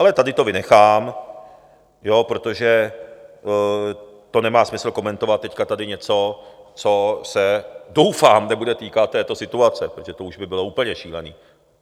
Ale tady to vynechám, protože to nemá smysl komentovat teď tady něco, co se doufám nebude týkat této situace, protože to už by bylo úplně šílené.